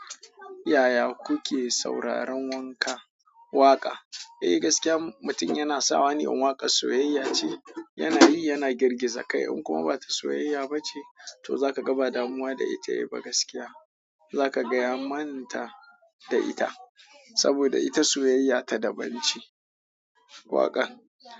Yaya kuke sauraron wanka? Waƙa? Eh gaskiya mutum yana sawane musamman waƙan soyayya. In kuma ba ta soyayya ba ce to zaka ga ba damuwa da ita. Eh gaskiya za ka gaya manta da ita saboda ita soyayya ta daban ce waƙar.